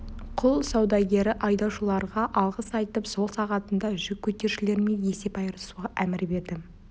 құл саудагері айдаушыларға алғыс айтып сол сағатында жүк көтерушілермен есеп айырысуға әмір берді